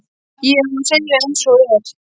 Ef ég á að segja eins og er.